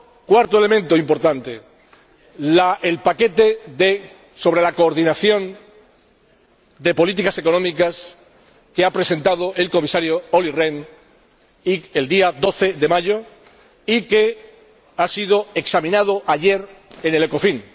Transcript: Cuarto elemento importante, el paquete sobre la coordinación de políticas económicas que presentó el Comisario Olli Rehn el día 12 de mayo y que fue examinado ayer en el Ecofin.